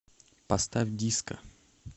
поставь диско